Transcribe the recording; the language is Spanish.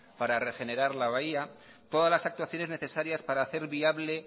para regenerar la bahía todas las actuaciones para hacer viable